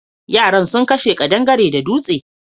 Yaran sun kashe ƙadangare da dutse.